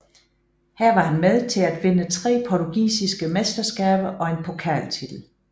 Her var han med til at vinde tre portugisiske mesterskaber og én pokaltitel